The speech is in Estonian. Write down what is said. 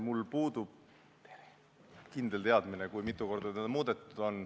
Mul puudub kindel teadmine, mitu korda seda on muudetud.